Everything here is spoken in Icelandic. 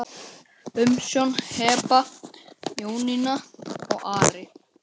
Umsjón Heba, Jónína og Ari.